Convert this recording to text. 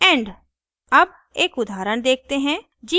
end अब एक उदाहरण देखते हैं